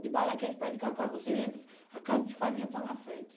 Debaixo daqueles pés de cacau você entra, a casa de farinha está na frente.